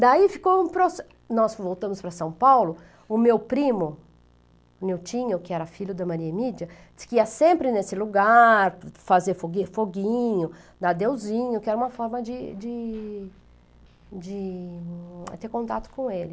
Daí ficou um proce, nós voltamos para São Paulo, o meu primo, o Niltinho, que era filho da Maria Emídia, disse que ia sempre nesse lugar, fazer fogui foguinho, dar adeusinho, que era uma forma de de de ter contato com ele.